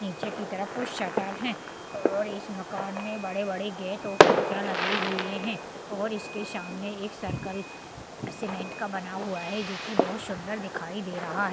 नीचे की तरफ कुछ शटर हैं और इस मकान में बड़े बड़े गेट और खिड़कियां लगी हुई हैं और इसके सामने एक सर्कल सीमेंट का बना हुआ हैं जो कि बहुत सुंदर दिखाई दे रहा है।